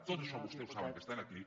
tot això vostès ho saben que està aquí